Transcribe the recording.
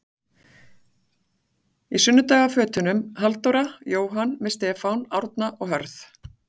Í sunnudagafötunum- Halldóra, Jóhann með Stefán, Árna og Hörð.